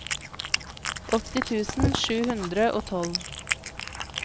åtti tusen sju hundre og tolv